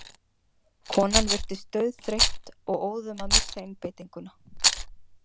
Konan virtist dauðþreytt og óðum að missa einbeitinguna.